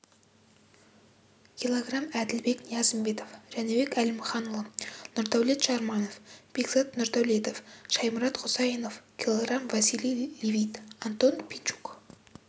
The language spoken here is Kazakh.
кг әділбек ниязымбетов жәнібек әлімханұлы нұрдәулет жарманов бекзат нұрдәулетов шаймұрат құсайынов кг василий левит антон пинчук